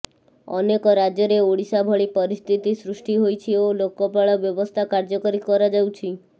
ଅନେକ ରାଜ୍ୟରେ ଓଡ଼ିଶା ଭଳି ପରିସ୍ଥିତି ସୃଷ୍ଟି ହୋଇଛି ଓ ଲୋକପାଳ ବ୍ୟବସ୍ଥା କାର୍ଯ୍ୟକାରୀ କରାଯାଉଛି